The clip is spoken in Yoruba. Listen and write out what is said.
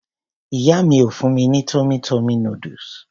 Ìyá mi ó fún mi ní tummy tummy noodles.